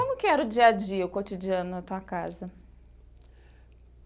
Como que era o dia a dia, o cotidiano na tua casa?